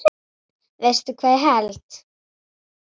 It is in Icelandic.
Veistu hvað ég held.